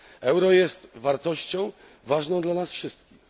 Euro jest wartością ważną dla nas wszystkich.